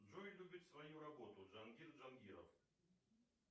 джой любит свою работу джангир джангиров